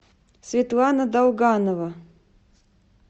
светлана долганова